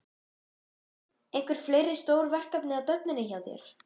Hrund: Einhver fleiri stór verkefni á döfinni hjá þér?